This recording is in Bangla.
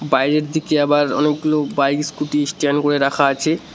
বাইরের দিকে আবার অনেকগুলো বাইক স্কুটি স্টেন্ড করে রাখা আছে।